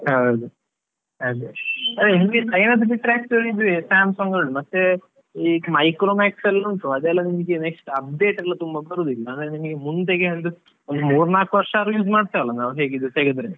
ಹೌದು, ಅದೇ ನಿಮ್ಗೆ China ದು ಬಿಟ್ರೆ ಅಷ್ಟು Samsung ಇದೆ, ಮತ್ತೆ ಈ Micromax ಎಲ್ಲ next update ಎಲ್ಲ ತುಂಬಾ ಬರುದಿಲ್ಲ, ನಿಮಿಗೆ ಮುಂದೆಗೆ ಅಂದ್ರೆ ಒಂದು ಮೂರೂ ನಾಲ್ಕು ವರ್ಷ ಆದ್ರೂ use ಮಾಡ್ತಿವಲ್ಲ ನಾವು ಹೇಗಿದ್ರು, ತೆಗೆದ್ರೆ.